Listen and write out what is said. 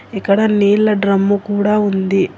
ఇక్కడ నీళ్ల డ్రమ్ము కూడా ఉంది.